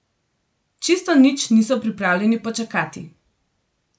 Čisto nič niso pripravljeni počakati.